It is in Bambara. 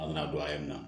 An bɛna don ayi na